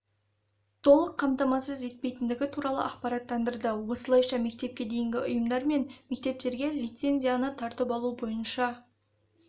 толық қамтамасыз етпейтіндігі туралы ақпараттандырды осылайша мектепке дейінгі ұйымдар мен мектептерге лицензияны тартып алу бойынша